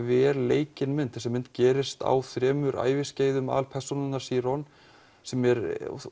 vel leikin mynd þessi mynd gerist á þremur æviskeiðum aðalpersónunnar sem er